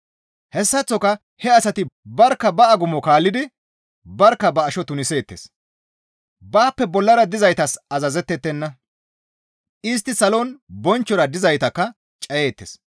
Hessaththoka he asati barkka ba agumo kaallidi barkka ba asho tuniseettes; baappe bollara dizaytas azazettettenna; istti salon bonchchora dizaytakka cayeettes.